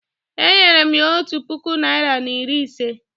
Enyere m ya otu puku naịra na iri ise